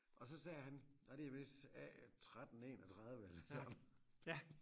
Og så sagde han og det vist A 13 31 eller sådan